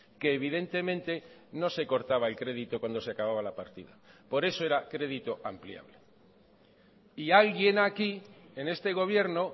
que evidentemente no se cortaba el crédito cuando se acababa la partida por eso era crédito ampliable y alguien aquí en este gobierno